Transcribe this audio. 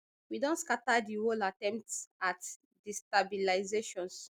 we don scata di whole attempt at destabilisations